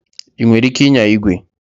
Ị nwere ike ịnya igwe?